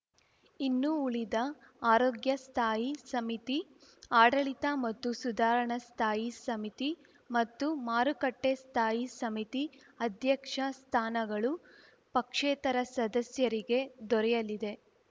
ಇನ್ನು ಉಳಿದ ಆರೋಗ್ಯ ಸ್ಥಾಯಿ ಸಮಿತಿ ಆಡಳಿತ ಮತ್ತು ಸುಧಾರಣಾ ಸ್ಥಾಯಿ ಸಮಿತಿ ಮತ್ತು ಮಾರುಕಟ್ಟೆಸ್ಥಾಯಿ ಸಮಿತಿ ಅಧ್ಯಕ್ಷ ಸ್ಥಾನಗಳು ಪಕ್ಷೇತರ ಸದಸ್ಯರಿಗೆ ದೊರೆಯಲಿದೆ